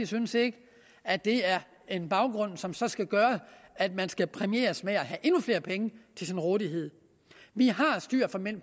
synes ikke at det er en baggrund som så skal gøre at man skal præmieres med at have endnu flere penge til sin rådighed vi har styr